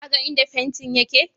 Ka ga inda fantin yake?